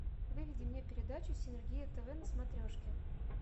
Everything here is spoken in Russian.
выведи мне передачу синергия тв на смотрешке